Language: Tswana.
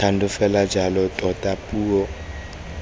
thando fela jalo tota puo